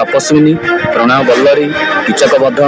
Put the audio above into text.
Tapaswini Pranayaballari Kichakabadha --